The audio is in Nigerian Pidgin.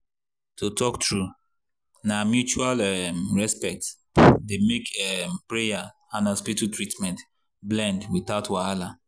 to talk true na mutual um respect dey make um prayer and hospital treatment blend without wahala.